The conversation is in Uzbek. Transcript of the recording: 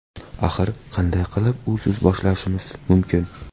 Axir, qanday qilib usiz boshlashimiz mumkin?